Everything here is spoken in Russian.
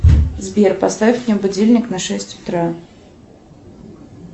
сбер поставь мне будильник на шесть утра